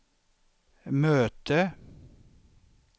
möte